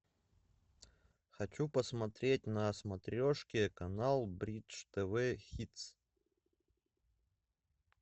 хочу посмотреть на смотрешке канал бридж тв хитс